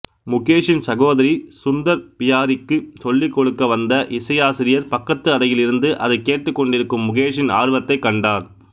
முகேஷின் சகோதரி சுந்தர் பியாரிக்கு சொல்லிக்கொடுக்க வந்த இசையாசிரியர் பக்கத்து அறையில் இருந்து அதை கேட்டுக்கொண்டிருக்கும் முகேஷின் ஆர்வத்தைக் கண்டார்